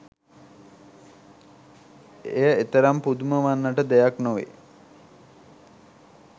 එය එතරම් පුදුම වන්නට දෙයක් නොවේ